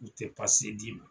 U tɛ pase d'i ma.